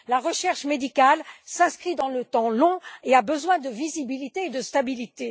La recherche médicale s'inscrit dans la durée et a besoin de visibilité et de stabilité.